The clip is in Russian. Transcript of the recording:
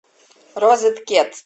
розеткед